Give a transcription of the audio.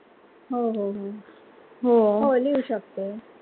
हो हो हो